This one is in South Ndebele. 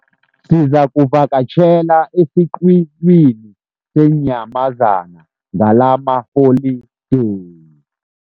Sizakuvakatjhela esiqhiwini seenyamazana ngalamaholideyi.